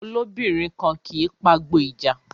Olóbìnrin kan kì í pagbo ìja